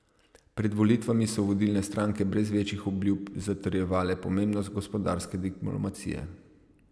Pred volitvami so vodilne stranke brez večjih obljub zatrjevale pomembnost gospodarske diplomacije.